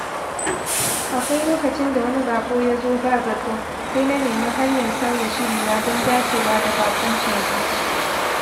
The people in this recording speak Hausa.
Akwai lokacin da wani bako ya zo ba zato, sai na nemi hanyar sauya shirina don dacewa da baƙuncin sa.